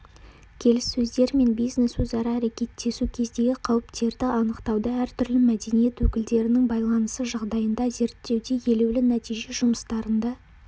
келіссөздер мен бизнес-өзара әрекеттесу кездегі қауіптерді анықтауда әртүрлі мәдениет өкілдерінің байланысы жағдайында зертеуде елеулі нәтиже жұмыстарында